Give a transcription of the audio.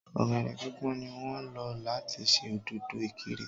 Ọ̀gẹ̀dè pípọ́n ní wọ́n ń lò láti ṣe dòdò-ikirè